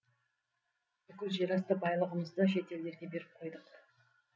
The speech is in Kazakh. бүкіл жерасты байлығымызды шетелдерге беріп қойдық